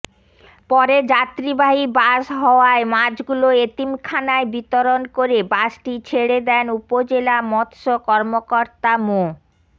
পরে যাত্রীবাহী বাস হওয়ায় মাছগুলো এতিমখানায় বিতরণ করে বাসটি ছেড়ে দেন উপজেলা মৎস্য কর্মকর্তা মো